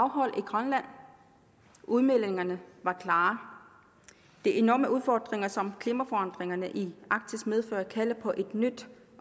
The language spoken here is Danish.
afholdt i grønland udmeldingerne var klare de enorme udfordringer som klimaforandringerne i arktis medfører kalder på et nyt